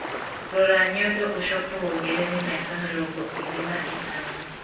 Rora nyondo ũcoke wongerere mĩaka mirongo ĩrĩ na ĩtano